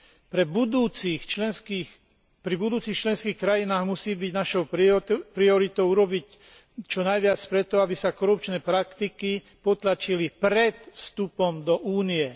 Pri budúcich členských krajinách musí byť našou prioritou urobiť čo najviac pre to, aby sa korupčné praktiky potlačili pred vstupom do Únie.